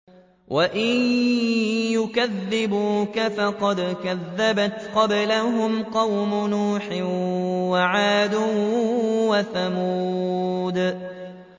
وَإِن يُكَذِّبُوكَ فَقَدْ كَذَّبَتْ قَبْلَهُمْ قَوْمُ نُوحٍ وَعَادٌ وَثَمُودُ